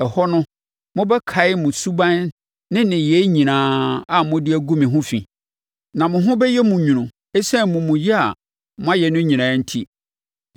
Ɛhɔ no, mobɛkae mo suban ne nneyɛɛ nyinaa a mode agu mo ho fi, na mo ho bɛyɛ mo nwunu ɛsiane amumuyɛ a moayɛ no nyinaa enti.